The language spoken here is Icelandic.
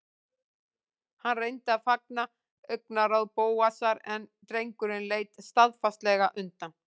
Hann reyndi að fanga augnaráð Bóasar en drengurinn leit staðfastlega undan.